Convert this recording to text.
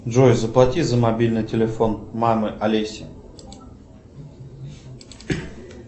джой заплати за мобильный телефон мама олеся